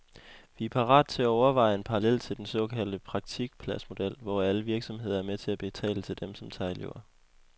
Vi er parat til at overveje en parallel til den såkaldte praktikpladsmodel, hvor alle virksomheder er med til at betale til dem, som tager elever.